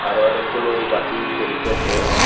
আরও অনেকগুলু বাতি জ্বলিতেসে।